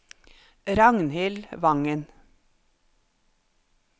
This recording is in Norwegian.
Ragnhild Wangen